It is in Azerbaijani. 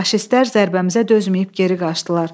Faşistlər zərbəmizə dözməyib geri qaçdılar.